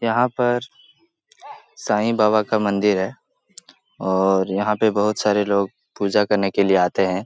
यहाँ पर सांई बाबा का मंदिर है और यहाँ पे बहोत सारे लोग पूजा करने के लिए आते हैं।